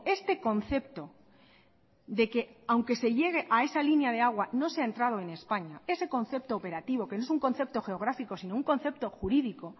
este concepto de que aunque se llegue a esa línea de agua no se ha entrado en españa ese concepto operativo que no es un concepto geográfico sino un concepto jurídico